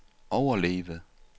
overleve